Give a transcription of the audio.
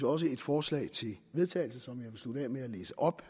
også et forslag til vedtagelse som jeg vil slutte af med at læse op